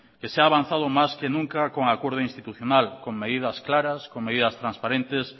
que se ha avanzado más que nunca en con acuerdo institucional con medidas claras con medidas transparentes